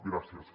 gràcies